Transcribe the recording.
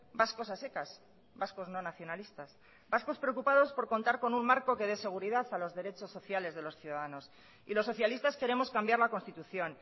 vascos a secas vascos no nacionalistas vascos preocupados por contar con un marco que dé seguridad a los derechos sociales de los ciudadanos y los socialistas queremos cambiar la constitución